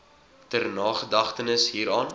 ter nagedagtenis hieraan